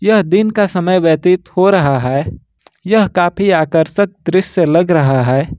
यह दिन का समय व्यतीत हो रहा है यह काफी आकर्षक दृश्य लग रहा है।